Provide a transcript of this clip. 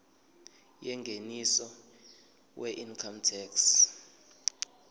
yengeniso weincome tax